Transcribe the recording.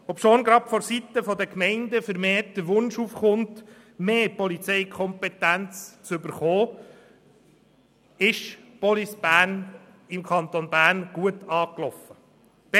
Obschon gerade vonseiten der Gemeinden vermehrt der Wunsch aufkommt, mehr Polizeikompetenz zu bekommen, ist Police Bern im Kanton Bern gut angelaufen.